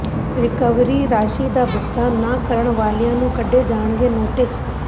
recovery ਰਾਸ਼ੀ ਦਾ ਭੁਗਤਾਨ ਨਾ ਕਰਨ ਵਾਲਿਆਂ ਨੂੰ ਕੱਢੇ ਜਾਣਗੇ ਨੋਟਿਸ